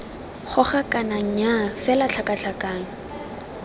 goga kana nnyaa fela tlhakatlhakano